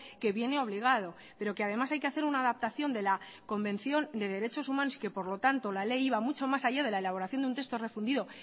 que viene obligado pero que además hay que hacer una adaptación de la convención de derechos humanos que por lo tanto la ley iba mucho más allá de la elaboración de un texto refundido